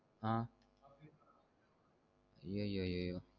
ஆஹ் ஐய ஐயோ